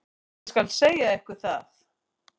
Ég skal segja ykkur það.